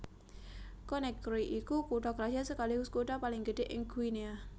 Conakry iku kutha krajan sekaligus kutha paling gedhé ing Guinea